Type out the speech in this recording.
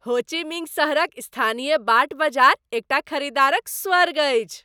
हो Chi Minh सहरक स्थानीय बाट बजार एकटा खरीदारक स्वर्ग अछि।